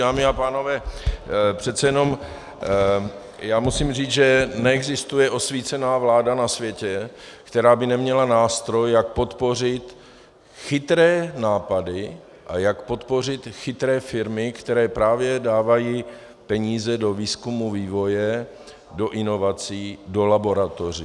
Dámy a pánové, přece jenom já musím říct, že neexistuje osvícená vláda na světě, která by neměla nástroj, jak podpořit chytré nápady a jak podpořit chytré firmy, které právě dávají peníze do výzkumu, vývoje, do inovací, do laboratoří.